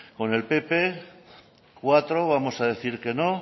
con el pp cuatro vamos a decir que no